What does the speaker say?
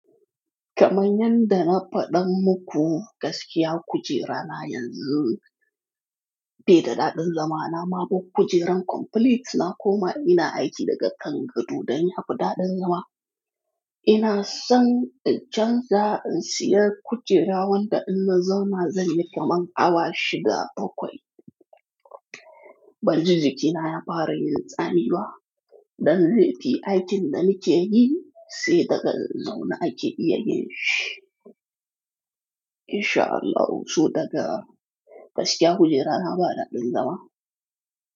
Kaman yadda na faɗa muku gaskiya kujera na yanzu, beda dadin zama na ma bar kujeran complete na koma ina aiki daga kan gado dan ya fi daɗin zama. Ina son in chanza in siya kujera wanda in na zauna zan yi kamar awa shida, bakwai. Ban ji jikina ya fara yin tsami ba. Dan zai fi aikin da nike yi sai daga zaune ake iya yin shi. Insha Allahu su daga gaskiya kujera na ba ɗadin zama.